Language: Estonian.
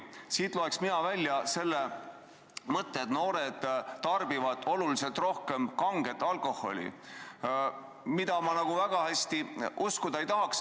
Siit loen mina välja mõtte, et noored tarbivad oluliselt rohkem kanget alkoholi, mida ma nagu väga hästi uskuda ei taha.